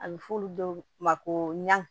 A bɛ f'olu dɔw ma ko ɲa